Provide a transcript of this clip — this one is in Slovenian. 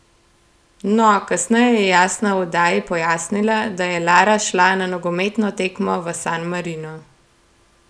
No, kasneje je Jasna v oddaji pojasnila, da je Lara šla na nogometno tekmo v San Marino.